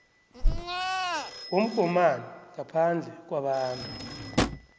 womgomani ngaphandle kwabantu